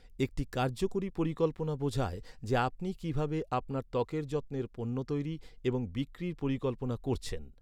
একটি কার্যকরী পরিকল্পনা বোঝায় যে, আপনি কী ভাবে আপনার ত্বকের যত্নের পণ্য তৈরি এবং বিক্রির পরিকল্পনা করছেন।